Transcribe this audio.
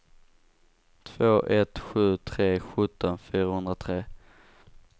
två ett sju tre sjutton fyrahundratre